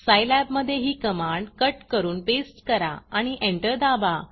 Scilab मधे ही command cut करून पेस्ट करा आणि एंटर दाबा